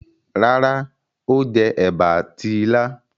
Rárá, Ó jẹ ẹ̀bà àti ilá.